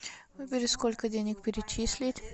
выбери сколько денег перечислить